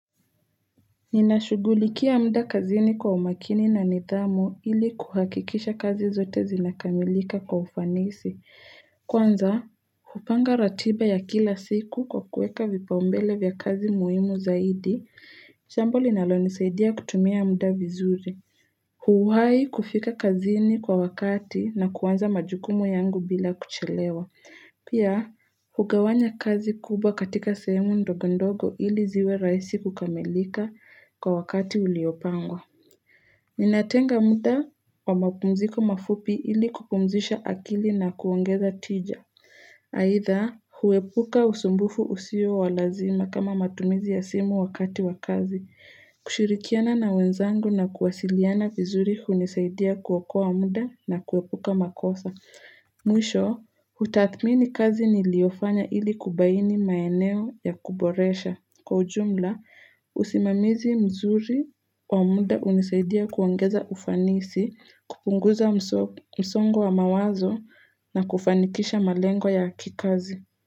Ninashugulikia muda kazini kwa umakini na nidhamu ili kuhakikisha kazi zote zinakamilika kwa ufanisi. Kwanza, hupanga ratiba ya kila siku kwa kuweka vipaumbele vya kazi muhimu zaidi, jambo linalonisaidia kutumia muda vizuri. Huuhai kufika kazini kwa wakati na kuanza majukumu yangu bila kuchelewa. Pia, hugawanya kazi kubwa katika sehemu ndogo ndogo ili ziwe rahisi kukamilika kwa wakati uliopangwa. Ninatenga muda wa mapumziko mafupi ili kupumzisha akili na kuongeza tija. Aidha, huepuka usumbuvu usio walazima kama matumizi ya simu wakati wa kazi. Kushirikiana na wenzangu na kuwasiliana vizuri hunisaidia kuokoa muda na kuepuka makosa. Mwisho, utathmini kazi niliofanya ili kubaini maeneo ya kuboresha. Kwa ujumla, usimamizi mzuri wa muda unisaidia kuongeza ufanisi, kupunguza msongo wa mawazo na kufanikisha malengo ya kikazi.